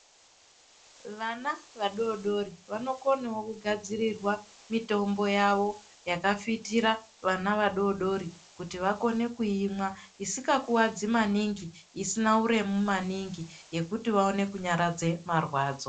Vana vadodori vanokonawo kugadzirirwa mitombo yavo yakafitira vana vadodori kuti vakone kuimwa, isikakuwadzi maningi, isina uremu maningi yekuti vaone kunyaradze marwadzo.